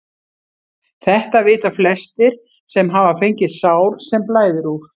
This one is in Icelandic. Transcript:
Þetta vita flestir sem hafa fengið sár sem blæðir úr.